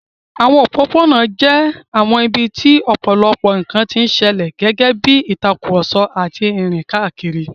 Àwọn òpópónà jẹ́ àwọn ibi tí ọ̀pọ̀lọpọ̀ nkan ti ń ṣẹlẹ̀, gẹ́gẹ́ bí ìtàkùrọ̀sọ àti ìrìn káàkiri.